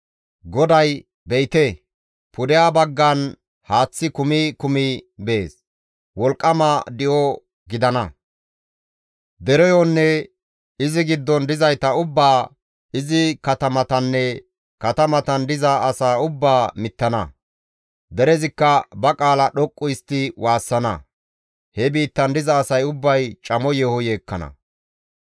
GODAY, «Be7ite, pudeha baggan haaththi kumi kumi bees; wolqqama di7o gidana; dereyonne izi giddon dizayta ubbaa izi katamatanne katamatan diza asaa ubbaa mittana. Derezikka ba qaala dhoqqu histti waassana; he biittan diza asay ubbay camo yeeho yeekkana.